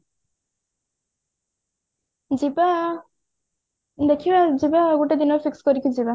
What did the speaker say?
ଯିବା ଦେଖିବା ଯିବା ଗୋଟେ ଦିନ fix କରିକି ଯିବା